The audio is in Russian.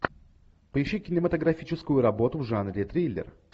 поищи кинематографическую работу в жанре триллер